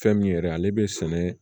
Fɛn min yɛrɛ ale bɛ sɛnɛ